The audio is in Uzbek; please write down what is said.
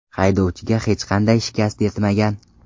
Haydovchiga hech qanday shikast yetmagan.